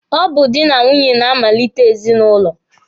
Ọ bụ dị na nwunye na-amalite ezinụlọ.